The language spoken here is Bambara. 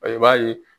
I b'a ye